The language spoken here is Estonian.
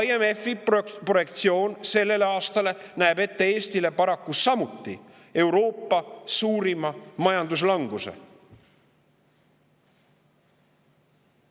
IMF-i selleks aastaks näeb ette Eestile paraku samuti Euroopa suurima majanduslanguse.